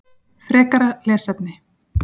Frekara lesefni: